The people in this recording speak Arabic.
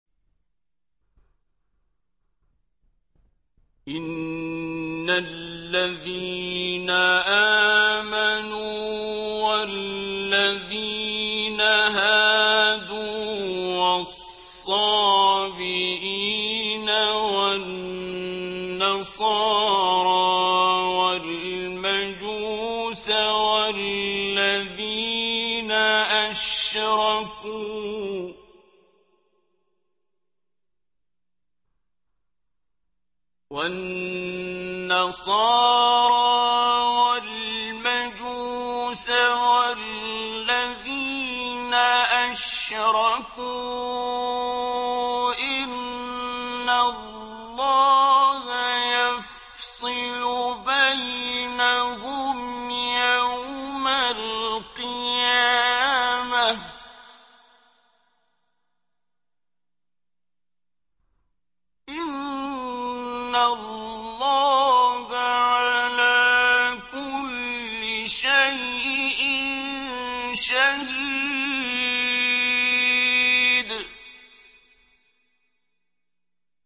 إِنَّ الَّذِينَ آمَنُوا وَالَّذِينَ هَادُوا وَالصَّابِئِينَ وَالنَّصَارَىٰ وَالْمَجُوسَ وَالَّذِينَ أَشْرَكُوا إِنَّ اللَّهَ يَفْصِلُ بَيْنَهُمْ يَوْمَ الْقِيَامَةِ ۚ إِنَّ اللَّهَ عَلَىٰ كُلِّ شَيْءٍ شَهِيدٌ